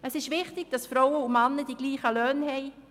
Es ist wichtig, dass Frauen und Männer die gleichen Löhne haben.